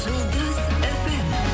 жұлдыз фм